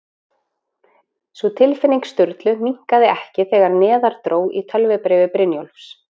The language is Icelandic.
Sú tilfinning Sturlu minnkaði ekki þegar neðar dró í tölvubréfi Brynjólfs